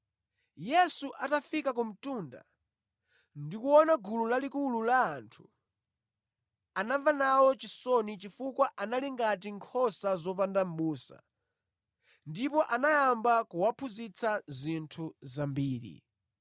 Yesu atafika ku mtunda ndi kuona gulu lalikulu la anthu, anamva nawo chisoni chifukwa anali ngati nkhosa zopanda mʼbusa. Ndipo anayamba kuwaphunzitsa zinthu zambiri.